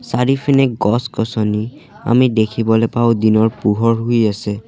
চাৰিওফিনে গছ-গছনি আমি দেখিবলে পাওঁ দিনৰ পোহৰ হৈ আছে।